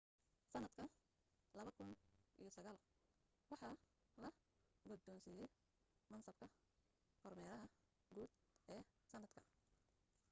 sanadka 2009 waxaa la gudoonsiiyay mansabka kormeeraha guud ee sanadka